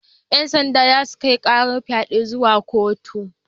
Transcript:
Yan sanda za su kai karar fyaden zuwa kotu.